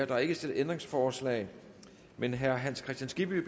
der er ikke stillet ændringsforslag men herre hans kristian skibby